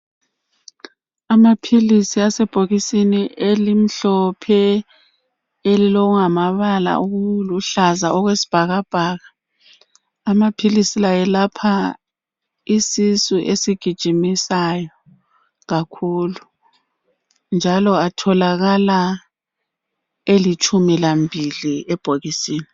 Amaphilisi asebhokisini elimhlophe elilokungamabala okuluhlaza okwesibhakabhaka. Amaphilisi la ayelapha isisu esigijimisayo kakhulu njalo atholakala elitshumi lambili ebhokisini.